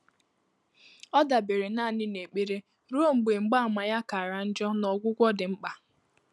Ọ́ dàbéréle nāànị́ n’ékpèré rùó mgbè mgbààmà yá kàrà njọ́ nà ọ́gwụ́gwọ́ dị́ mkpà.